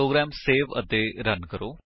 programme save ਅਤੇ run ਕਰੋ